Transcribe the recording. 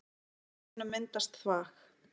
Í ferlinu myndast þvag.